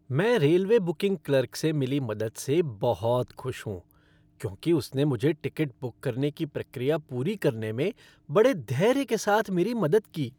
मैं railway booking clerk से मिली मदद से बहुत खुश हूं क्योंकि उसने मुझे टिकट बुक करने की प्रक्रिया पूरी करने में बड़े धैर्य के साथ मेरी मदद की।